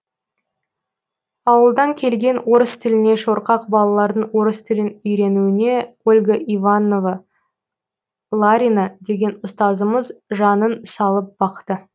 ауылдан келген орыс тіліне шорқақ балалардың орыс тілін үйренуіне ольга иванова ларина деген ұстазымыз жанын салып бақты